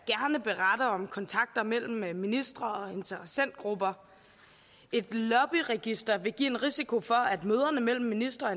beretter om kontakter mellem mellem ministre og interessentgrupper et lobbyregister vil give en risiko for at møderne mellem ministre og